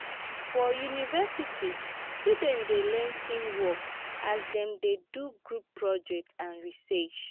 for university students dey learn teamwork as dem dey do group project and research.